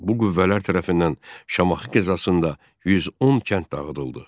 Bu qüvvələr tərəfindən Şamaxı qəzasında 110 kənd dağıdıldı.